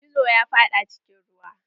Gizo ya faɗa cikin ruwa.